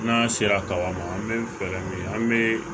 N'an sera kaba ma an bɛ fɛɛrɛ min kɛ an bɛ